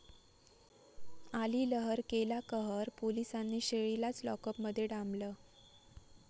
आली लहर केला कहर, पोलिसांनी शेळीलाच लॉकअपमध्ये डांबलं!